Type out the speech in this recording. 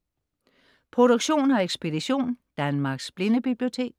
Produktion og ekspedition: Danmarks Blindebibliotek